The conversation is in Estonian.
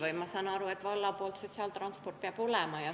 Ma saan aru, et valla sotsiaaltransport peab olema.